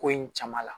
Ko in caman la